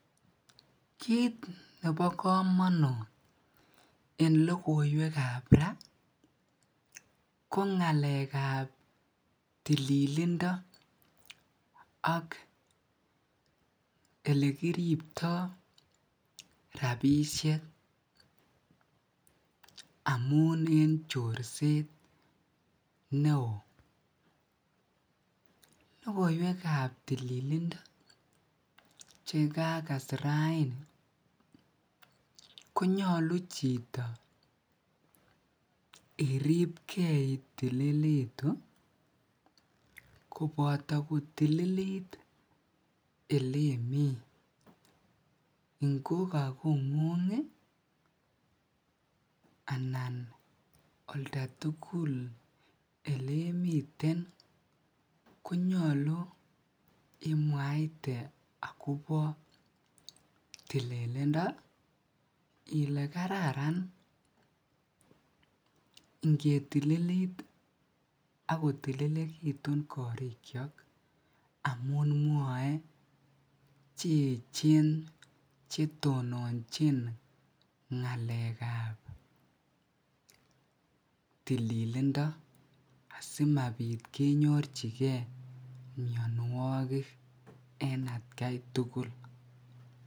Kiit nebo komonut en lokoiwekab raa ko ngalekab tililindo ak elekiribto rabishek amun en chorset neoo, lokoiwekab tililindo chekakas raini konyolu chito iriibke itililitu koboto kotililit elemii ngo ko kongung anan oldaukul elemiten konyolu imwit akobo tililindo ilee kararan ingetililit ak kotililekitun korikyok amun mwoe che echen chetononchin ngalekab tililindo asimabit kenyorchike mionwokik en atkai tukul.